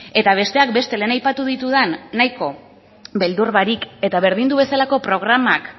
eta besteak beste lehen aipatu ditudan nahiko beldur barik eta berdindu bezalako programak